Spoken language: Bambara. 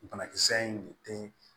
Banakisɛ in de den